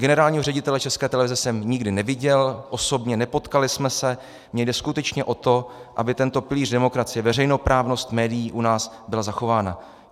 Generálního ředitele České televize jsem nikdy neviděl osobně, nepotkali jsme se, jde mi skutečně o to, aby tento pilíř demokracie, veřejnoprávnost médií u nás byla zachována.